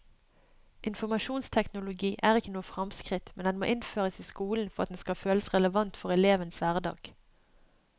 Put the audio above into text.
Informasjonsteknologi er ikke noe fremskritt, men den må innføres i skolen for at den skal føles relevant for elevenes hverdag.